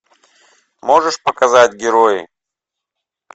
можешь показать герои